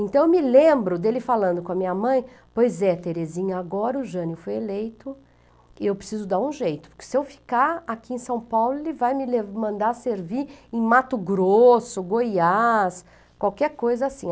Então, eu me lembro dele falando com a minha mãe, pois é, Terezinha, agora o Jânio foi eleito e eu preciso dar um jeito, porque se eu ficar aqui em São Paulo, ele vai me mandar servir em Mato Grosso, Goiás, qualquer coisa assim.